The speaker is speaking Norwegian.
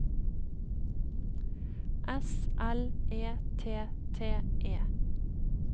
S L E T T E